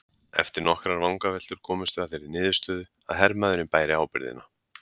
Eftir nokkrar vangaveltur komumst við að þeirri niðurstöðu að hermaðurinn bæri ábyrgðina.